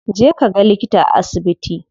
Je kaga likita a asibiti.